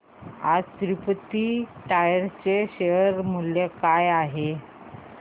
आज तिरूपती टायर्स चे शेअर मूल्य काय आहे